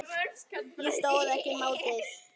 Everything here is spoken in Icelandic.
Ég stóðst ekki mátið.